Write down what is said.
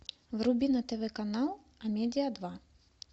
вруби на тв канал а медиа два